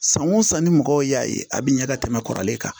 San o san ni mɔgɔw y'a ye a bɛ ɲɛ ka tɛmɛ kɔrɔlen kan